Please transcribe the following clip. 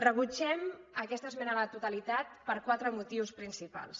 rebutgem aquesta esmena a la totalitat per quatre motius principals